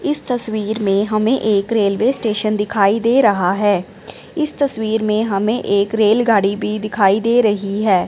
इस तस्वीर में हमें एक रेलवे स्टेशन दिखाई दे रहा है इस तस्वीर में हमें एक रेलगाड़ी भी दिखाई दे रही है।